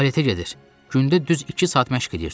Baletə gedir, gündə düz iki saat məşq eləyirdi.